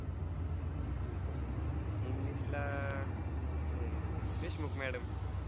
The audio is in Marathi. English ला अह हे देशमुख madam